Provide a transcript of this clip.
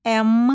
M.